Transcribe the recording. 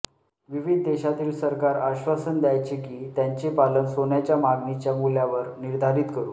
विविध देशातील सरकार आश्वासन द्यायचे की त्यांचे चलन सोन्याच्या मागणीच्या मूल्यावर निर्धारित करू